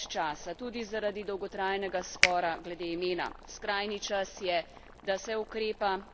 Skrajni čas je, da se ukrepa in da se s skupno politično voljo dosežejo spremembe.